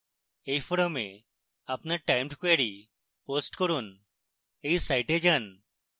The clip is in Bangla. এই ফোরামে আপনার টাইমড ক্যোয়ারী পোস্ট করুন এই সাইটে যান